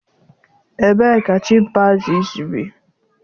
Ebee ka chimpanzees bi?